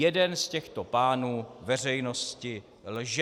Jeden z těchto pánů veřejnosti lže.